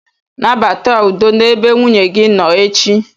Nabata udo n'ebe nwunye gị nọ echi.